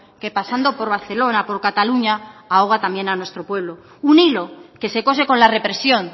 que pasando por barcelona por cataluña ahoga también a nuestro pueblo un hilo que se cose con la represión